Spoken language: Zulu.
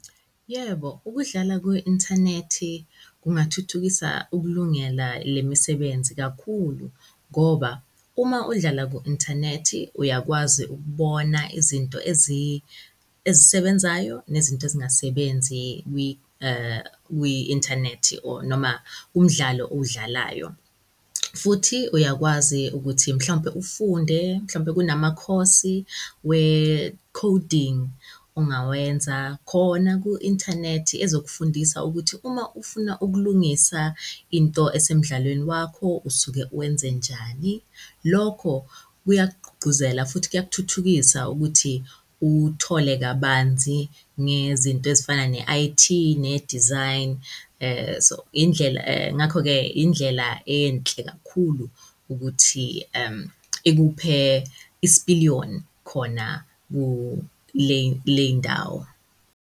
Yebo, ukudlala kwi-inthanethi kungathuthukisa ukulungela le misebenzi kakhulu, ngoba uma udlala ku-inthanethi uyakwazi ukubona izinto ezisebenzayo nezinto ezingasebenzi kwi-inthanethi or noma kumdlalo owudlalayo. Futhi uyakwazi ukuthi mhlampe ufunde mhlampe kunama-course-i we-coding ongawenza khona ku-inthanethi ezokufundisa ukuthi uma ufuna ukulungisa into esemdlalweni wakho usuke wenze njani. Lokho kuyakugqugquzela futhi kuyakuthuthukisa ukuthi uthole kabanzi ngezinto ezifana ne-I_T ne-design. So indlela, ngakho-ke indlela enhle kakhulu ukuthi ikuphe isipiliyoni khona kule kuley'ndawo